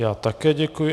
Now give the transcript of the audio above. Já také děkuji.